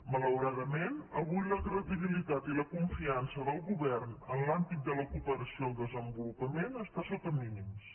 malauradament avui la credibilitat i la confiança del govern en l’àmbit de la cooperació al desenvolupament està sota mínims